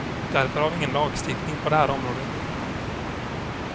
Därför har vi ingen lagstiftning på det här området.